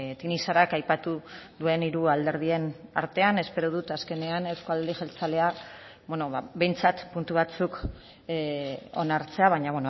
tinixarak aipatu duen hiru alderdien artean espero dut azkenean eusko alderdi jeltzalea behintzat puntu batzuk onartzea baina